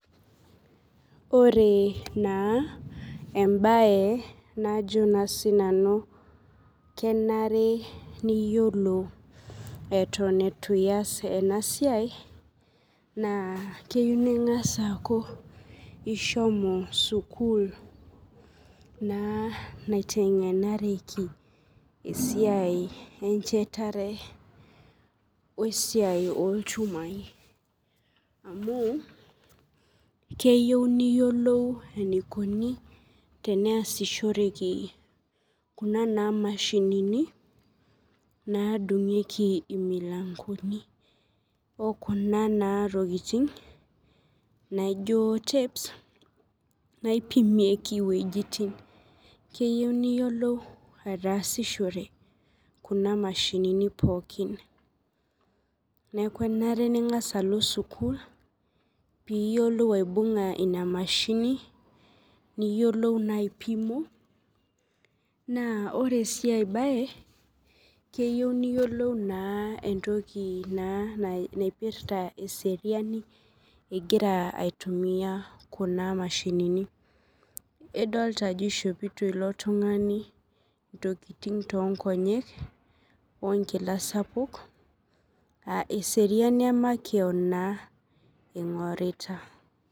Ore na embae najo na sinanu kenare niyiolou atan itu ias enasiai na keyio ningasa aaku ishomo sukul naitengenari esiai encherare esiai onchumai amu keyio niyiolou enikuni teneasishoreki kuna mashinini nadungieki imilangoni okuna na tokitin naijo tapes naipimieki ntokitin keyieu niyiolou ataasishore kuna mashinini pookin neaku enare ningasa alo sukul piyiolo apima nona mashinini niyiolou na ore si enkae bae keyiou niyiolou eseriani egira aitumia kuna mashinini Adolta ajo ishopito ilo tungani nkilani wenkila sapuk aa eseriani emakeon ingurita.